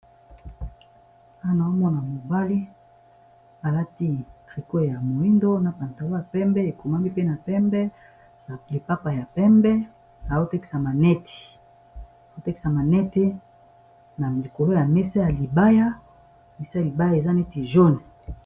Awa naomona mobali alati triqoe ya moindo na pantawa ya pembe ekomami mpe na pembe n lipapa ya pembe na autexamanete na likolo ya mesalibaamesa ya libaya eza neti jone